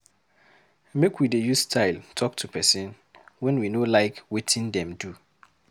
Make we dey use style talk to pesin wen we no like wetin dem do.